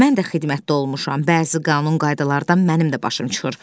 Mən də xidmətdə olmuşam, bəzi qanun qaydalardan da mənim də başım çıxır.